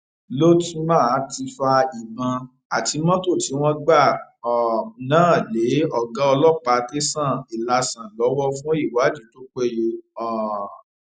lótma ti fa ìbọn àti mọtò tí wọn gbà um náà lé ọgá ọlọpàá tẹsán ilásàn lọwọ fún ìwádìí tó péye um